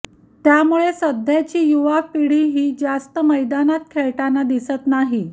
त्यामुळे सध्याची युवा पीढी ही जास्त मैदानात खेळताना दिसत नाही